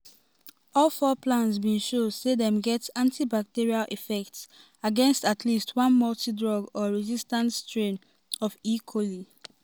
all all four plants bin show say dem get antibacterial effects against at least one multidrug-resistant strain of e. coli.